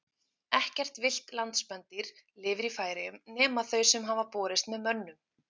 Ekkert villt landspendýr lifir í Færeyjum nema þau sem hafa borist með mönnum.